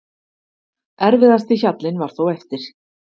Erfiðasti hjallinn var þó eftir.